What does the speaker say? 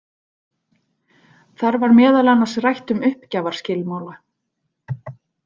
Þar var meðal annars rætt um uppgjafarskilmála.